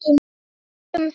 Við skálum fyrir